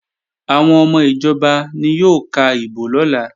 Àwọn ọmọ ìjọba ni yóò ka ìbò lọ́la